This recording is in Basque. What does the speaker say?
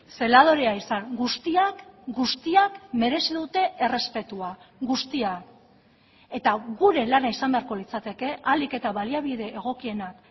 zeladorea izan guztiak guztiak merezi dute errespetua guztiak eta gure lana izan beharko litzateke ahalik eta baliabide egokienak